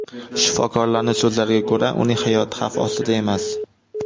Shifokorlarning so‘zlariga ko‘ra, uning hayoti xavf ostida emas.